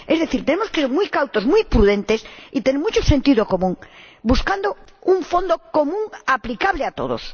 Es decir, tenemos que ser muy cautos, muy prudentes y tener mucho sentido común, buscando un fondo común aplicable a todos.